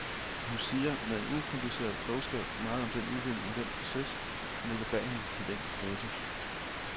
Men hun siger med en ukompliceret klogskab meget om den udvikling og den proces, der ligger bag hendes talent og status.